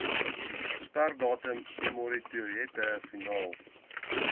sperdatum emmertoilette finaal